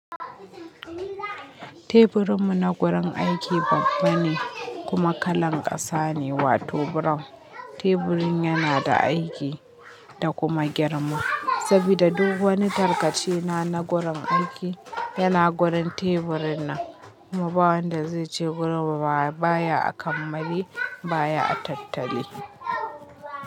Teburinmu na gurin aiki babba ne kuma kalan ƙasa ne, wato brown. Teburin yana da aiki da kuma girma sabida duk wani tarkace na gurin aiki yana gurin teburin nan, kuma bawanda zaice gurinmu baya a kammali baya a tattali.